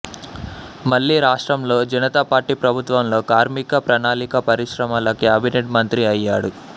మళ్లీ రాష్ట్రంలో జనతా పార్టీ ప్రభుత్వంలో కార్మిక ప్రణాళిక పరిశ్రమల క్యాబినెట్ మంత్రి అయ్యాడు